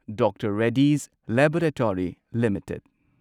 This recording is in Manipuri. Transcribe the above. doctor Reddy's laboratory limited